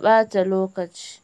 ɓata lokaci.